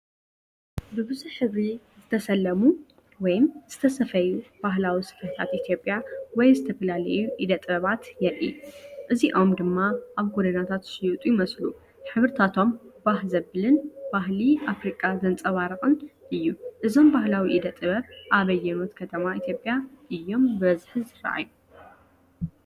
ብብዙሕ ሕብሪ ዝተሰለሙ ወይም ዝተሰፈዩ ባህላዊ ስፈታት ኢትዮጵያ ወይ ዝተፈላለዩ ኢደ ጥበባት የርኢ። እዚኦም ድማ ኣብ ጎደናታት ዝሽየጡ ይመስሉ። ሕብርታቶም ባህ ዘብልን ባህሊ ኣፍሪቃ ዘንጸባርቕን እዩ። እዞም ባህላዊ ኢደ ጥበብ ኣብ ኣየኖት ከተማ ኢትዮጵያ እዮም ብብዝሒ ዝረኣዩ?